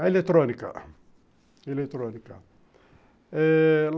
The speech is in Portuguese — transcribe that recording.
A eletrônica.